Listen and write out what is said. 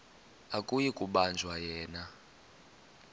akuyi kubanjwa yena